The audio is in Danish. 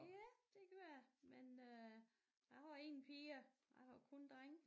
Ja det kan være men øh jeg har ingen piger jeg har kun drenge